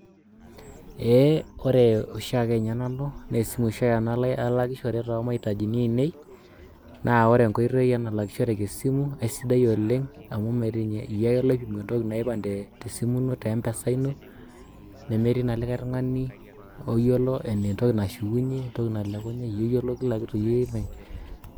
Ee ore oshiake nanu na esimu oshi nanu alakishore temaitaji ainei na ore enkoitoi nalakishoreki na sidai oleng amu metii niny iyie ake oipinu entoki nilak niriwaa tempesa ino nemetii na likae tungani oyiolo entoki anshukunye, entoki nalekunye iyie oyiolo kiakitu